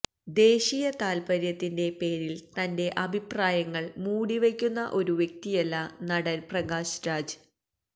ദേശീയ താല്പര്യത്തിന്റെ പേരില് തന്റെ അഭിപ്രായങ്ങള് മൂടി വയ്ക്കുന്ന ഒരു വ്യക്തിയല്ല നടന് പ്രകാശ് രാജ്